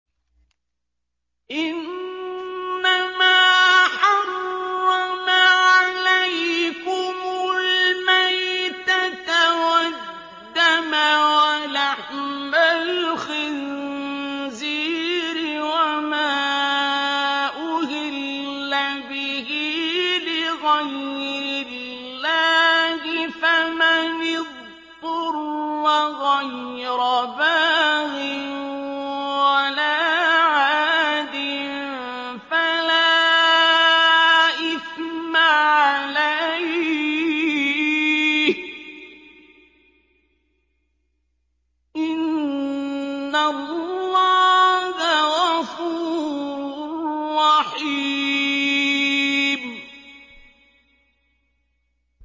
إِنَّمَا حَرَّمَ عَلَيْكُمُ الْمَيْتَةَ وَالدَّمَ وَلَحْمَ الْخِنزِيرِ وَمَا أُهِلَّ بِهِ لِغَيْرِ اللَّهِ ۖ فَمَنِ اضْطُرَّ غَيْرَ بَاغٍ وَلَا عَادٍ فَلَا إِثْمَ عَلَيْهِ ۚ إِنَّ اللَّهَ غَفُورٌ رَّحِيمٌ